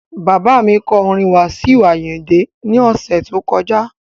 Bàbá kọ orin Wasiu Ayinde ní ọ̀sẹ̀ tó kọjá